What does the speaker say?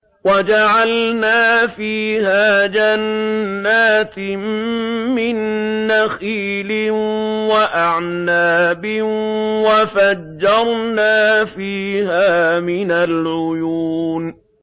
وَجَعَلْنَا فِيهَا جَنَّاتٍ مِّن نَّخِيلٍ وَأَعْنَابٍ وَفَجَّرْنَا فِيهَا مِنَ الْعُيُونِ